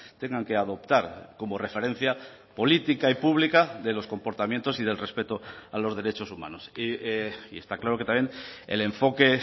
tengan que adoptar como referencia política y pública de los comportamientos y del respeto a los derechos humanos y está claro que también el enfoque